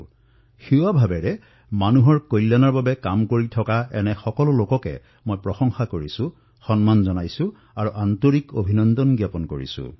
যিসকলে সেৱা ভাৱনাৰে জনসাধাৰণৰ সহায়ত নামি পৰিছে মই তেওঁলোকৰ প্ৰশংসা কৰিছো তেওঁলোকক অভিনন্দন জনাইছো